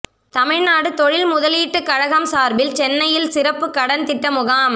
தமிழ்நாடு தொழில் முதலீட்டு கழகம் சார்பில் சென்னையில் சிறப்பு கடன் திட்ட முகாம்